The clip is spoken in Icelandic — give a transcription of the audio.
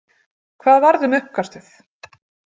Hvað varð um uppkastið?